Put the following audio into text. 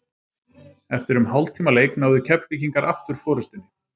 Eftir um hálftíma leik náðu Keflvíkingar aftur forystunni.